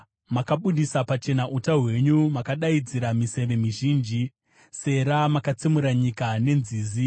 Makabudisa pachena uta hwenyu, mukadaidzira miseve mizhinji. Sera Makatsemura nyika nenzizi;